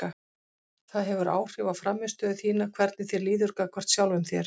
Það hefur áhrif á frammistöðu þína hvernig þér líður gagnvart sjálfum þér.